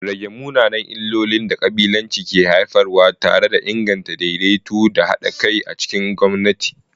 Rage munanan illolin da kabilanci ke haifarwa tare da inganta daidaito da hada kai a cikin gwamnati.